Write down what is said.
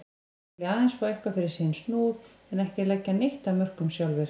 Þeir vilja aðeins fá eitthvað fyrir sinn snúð en ekki leggja neitt af mörkum sjálfir.